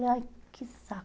Falei, ai que